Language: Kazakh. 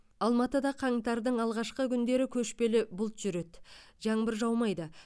алматыда қаңтардың алғашқы күндері көшпелі бұлт жүреді жаңбыр жаумайды